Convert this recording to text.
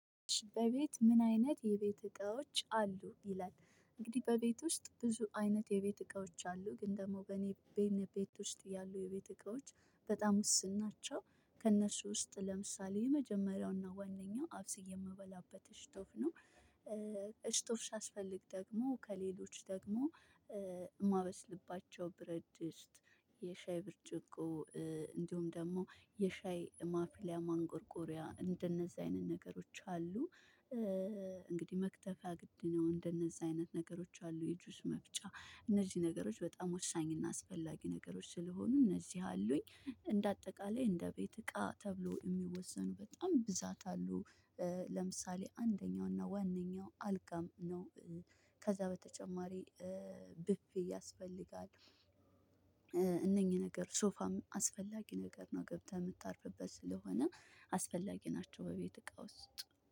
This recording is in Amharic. በቤት ምን አይነት የቤት እቃዎች አሉ? ይላል እንግዲህ በቤት ውስጥ ብዙ አይነት የቤት እቃዎች አሉ ግን ደግሞ በእኔ ቤት ውስጥ ያሉ የቤት እቃዎች በጣም ውስን ናቸው ከእነሱ ውስጥ ለምሳሌ የመጀመሪያውና ዋነኛው አብስዬ የምበላበት እሽቶፍ ነው እሽቶፍ ሲያስፈልግ ደግሞ ከሌሎች ደግሞ የማበስልባቸው ብረድድስት፣ የሻይ ብርጭቆ፣ እንዲሁም ደግሞ የሻይ ማፍሊያ ማንቆርቆሪያ፣ እንደነዛ አይነት ነገሮች አሉ። እንግዲህ መክተፊያ ግድ ነው። እንደነዚህ አይነት ነገሮች አሉ የጁስ መፍጫ፣ እነዚህ ነገሮች በጣም ወሳኝ እና አስፈላጊ ነገሮች ስለሆኑ እነዚህ አሉኝ እንደ አጠቃላይ እንደ ቤት እቃ ተብሎ የሚወሰኑ በጣም ብዛት አሉ። ለምሳሌ አንደኛው እና ዋነኛው አልጋም ነው። ከዛ በተጨማሪ ብፌ ያስፈልጋል እነኚህ ነገሮች ሶፋም አስፈላጊ ነገር ነው ገብተህ የምታርፍበት ስለሆነ አስፈላጊ ናቸው በቤት እቃ ውስጥ